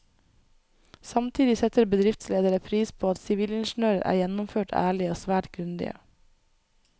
Samtidig setter bedriftsledere pris på at sivilingeniører er gjennomført ærlige og svært grundige.